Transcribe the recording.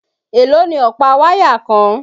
Èló ni ọ̀pá wáyà kan?